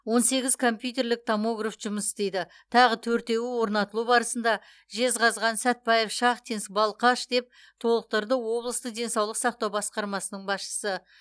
он сегіз компьютерлік томограф жұмыс істейді тағы төртеуі орнатылу барысында жезқазған сәтбаев шахтинск балқаш деп толықтырды облыстық денсаулық сақтау басқармасының басшысы